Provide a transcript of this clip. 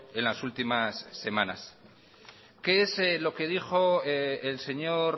en las últimas semanas qué es lo que dijo el señor